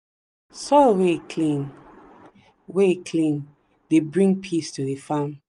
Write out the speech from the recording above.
soil wey clean wey clean dey bring peace to the farm.